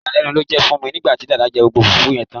Ìyàlénu ló jé fun mi nígbàtí Dàda jé gbogbo fùfú yen tán